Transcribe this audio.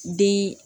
Den